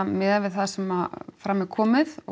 miðað við það sem fram er komið og